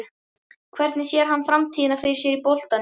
Hvernig sér hann framtíðina fyrir sér í boltanum?